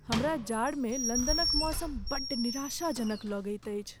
हमरा जाड़मे लन्दनक मौसम बड्ड निराशाजनक लगैत अछि।